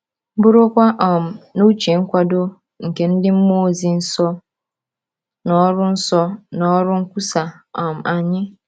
Burukwa um n’uche nkwado nke ndị mmụọ ozi nsọ na ọrụ nsọ na ọrụ nkwusa um anyị.